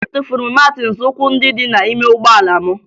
Atụfuru m maatị nzọụkwụ ndị dị n'ime ụgbọala m